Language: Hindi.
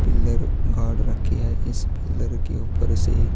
पिल्लर गाड़ रखी है इस पिल्लर के ऊपर से--